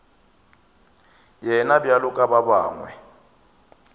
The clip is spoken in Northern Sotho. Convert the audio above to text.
yena bjalo ka ba bangwe